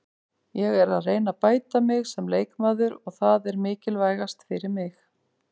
Ég er að reyna að bæta mig sem leikmaður og það er mikilvægast fyrir mig.